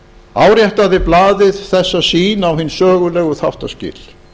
áréttaði blaðið þessa sýn á hin sögulegu þáttaskil